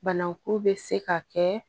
Banaku bɛ se ka kɛ